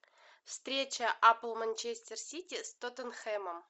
встреча апл манчестер сити с тоттенхэмом